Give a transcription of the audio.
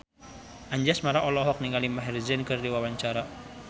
Anjasmara olohok ningali Maher Zein keur diwawancara